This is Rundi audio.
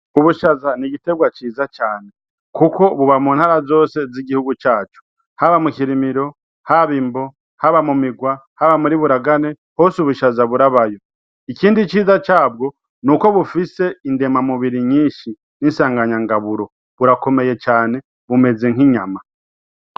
Ubushaza n'igitegwa ciza cane kuko buba mu ntara zose z'igihugu cacu; haba mukirimiro, haba imbo, haba mu migwa, haba muri buragane hose ubushaza burabayo. Ikindi ciza cabwo nuko bufise indema mubiri nyinshi nisanganyangaburo burakomeye cane bumeze nkinyama.